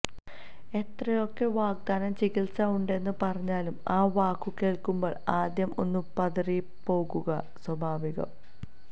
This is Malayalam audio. എത്രയൊക്കെ വിദഗ്ധ ചികിത്സ ഉണ്ടെന്നു പറഞ്ഞാലും ആ വാക്കു കേൾക്കുമ്പോൾ ആദ്യം ഒന്നു പതറിപ്പോകുക സ്വാഭാവികം